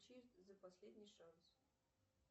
за последний шанс